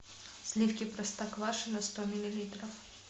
сливки простоквашино сто миллилитров